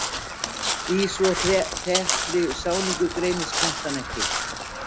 Í svo þéttri sáningu greinist plantan ekki.